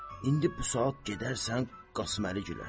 İndi bu saat gedərsən Qasıməli gülə.